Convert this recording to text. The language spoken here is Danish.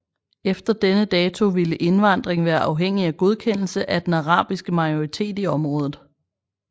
Efter denne dato ville indvandring være afhængig af godkendelse af den arabiske majoritet i området